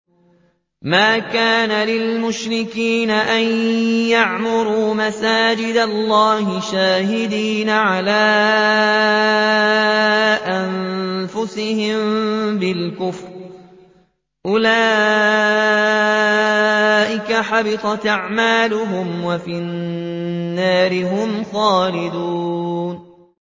مَا كَانَ لِلْمُشْرِكِينَ أَن يَعْمُرُوا مَسَاجِدَ اللَّهِ شَاهِدِينَ عَلَىٰ أَنفُسِهِم بِالْكُفْرِ ۚ أُولَٰئِكَ حَبِطَتْ أَعْمَالُهُمْ وَفِي النَّارِ هُمْ خَالِدُونَ